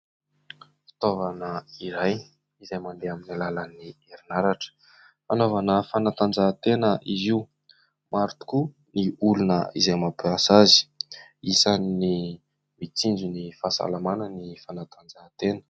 Fitaovana iray izay mandeha amin'ny lalan'ny herinaratra, hanaovana fanatanjahantena izy io maro tokoa ny olona izay mampiasa azy, isan' ny mitsinjo ny fahasalamana ny fanatanjahantena.